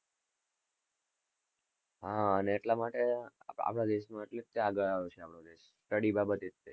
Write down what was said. હા અને એટલા માટે આપણા દેશ આગળ આવ્યો છે study બાબતે.